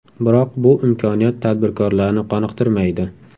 Biroq bu imkoniyat tadbirkorlarni qoniqtirmaydi.